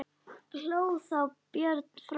Hló þá Björn frá Öxl.